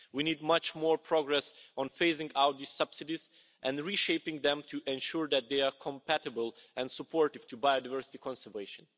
We need much more progress on phasing out the subsidies and reshaping them to ensure that they are compatible and supportive to biodiversity conservation.